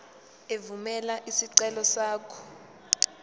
evumela isicelo sakho